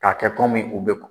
K'a kɛ kɔmi u be